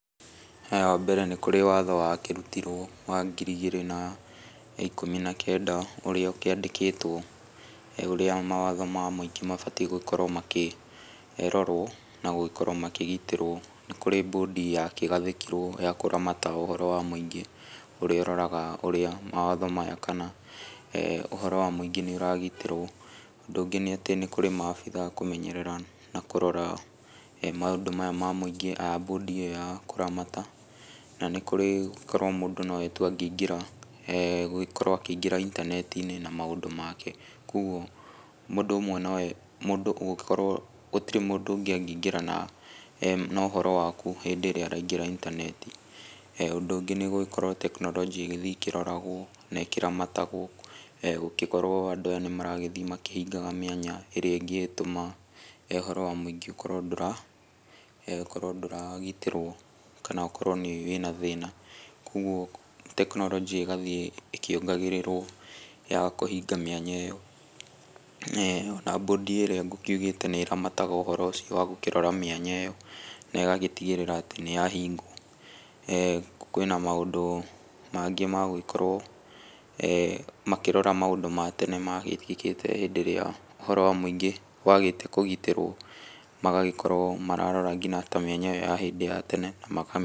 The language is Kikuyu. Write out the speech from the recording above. Wa mbere nĩ kurĩ watho wakĩrutirwo wa ngiri igĩrĩ na ikũmi na kenda, ũrĩa ũkĩandĩkĩtwo ũrĩa mawatho ma mũingĩ mabatiĩ gũkorwo makĩrorwo, na gũgĩkorwo makĩgitĩrwo. Nĩ kurĩ mbũndi yakĩgathĩkirwo ya kũramata ũhoro wa mũingĩ, ũrĩa ũroraga ũrĩa mawatho maya kana ũhoro wa mũingĩ nĩ ũragitĩrwo. Ũndũ ũngĩ nĩ atĩ nĩ kurĩ maabitha a kũmenyerera na kũrora maũndũ maya ma mũingĩ a mbũndi ĩyo ya kũramata, na nĩ kurĩ korwo mũndũ no we tu angĩingĩra, gũgĩkorwo akĩingĩra intaneti-inĩ na maũndũ make. Kogwo gũtirĩ mũndũ ũngĩ angĩingĩra na ũhoro waku hĩndĩ ĩrĩa araingĩra intaneti. Ũndũ ũngĩ nĩ gũgĩkorwo tekinoronjĩ igĩthiĩ ikĩroragwo na ĩkĩramatagwo, gũgĩkorwo andũ aya nĩ maragĩthiĩ makĩhingaga mĩanya ĩrĩa ĩngĩtũma ũhoro wa mũingĩ ũkorwo ndũragitĩrwo, kana ũkorwo wĩ na thĩna. Kogwo tekinoronjĩ ĩgathiĩ ĩkĩongagĩrĩrwo ya kũhinga mĩanya ĩyo na mbũndi ĩrĩa ngũkiugĩte nĩ ĩramataga ũhoro ũcio wa gũkĩrora mĩanya ĩyo na ĩgagĩtigĩrĩra nĩ yahingwo. Kwĩ na maũndũ mangĩ ma gũgĩkorwo makĩrora maũndũ ma tene magĩthiĩkĩte hĩndĩ ĩrĩa ũhoro wa mũingĩ wagĩte kũgitĩrwo magagĩkorwo mararora nginya ta mĩanya ĩyo ya hĩndĩ ya tene na maka...